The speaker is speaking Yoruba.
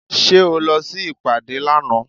Ṣé o lọ sí ìpàdé lánàá?